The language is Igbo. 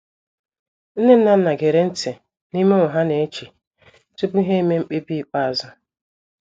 Nne na nna gere nti n'ihe ụmụ ha na-eche tupu ha emee mkpebi ikpeazụ.